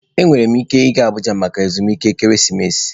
Enwere m ike ịga Abuja maka ezumike ekeresimesi.